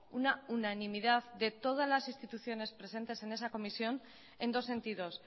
una unanimidad de todas las instituciones presentes en esa comisión en dos sentidos